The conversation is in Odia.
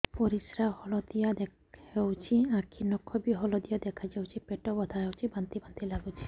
ପରିସ୍ରା ହଳଦିଆ ହେଉଛି ଆଖି ନଖ ବି ହଳଦିଆ ଦେଖାଯାଉଛି ପେଟ ବଥା ହେଉଛି ବାନ୍ତି ବାନ୍ତି ଲାଗୁଛି